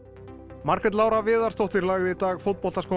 Margrét Lára Viðarsdóttir lagði í dag